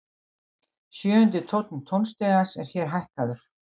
Sjöundi tónn tónstigans er hér hækkaður.